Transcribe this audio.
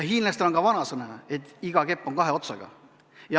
Hiinlastel on ka vanasõna, et iga kepp on kahe otsaga.